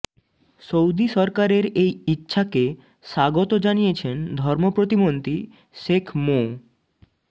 Saudi সরকারের এই ইচ্ছাকে স্বাগত জানিয়েছেন ধর্ম প্রতিমন্ত্রী শেখ মো